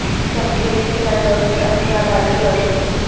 چمکیلی کے ساتھ روشنی اور سیاہ بال کی روشنی